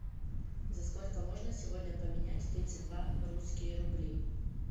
за сколько можно сегодня поменять тридцать два русские рубли